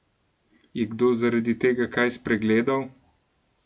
Je kdo zaradi tega kaj spregledal?